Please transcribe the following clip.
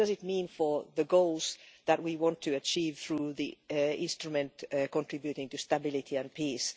What does it mean for the goals that we want to achieve through the instrument contributing to stability and peace?